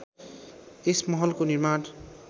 यस महलको निर्माण